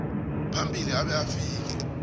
phambili abe afike